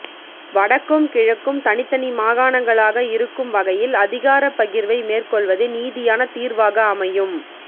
வடக்கும் கிழக்கும் தனித்தனி மாகாணங்களாக இருக்கும் வகையில் அதிகாரப் பகிர்வை மேற்கொள்வதே நீதியான தீர்வாக அமையும்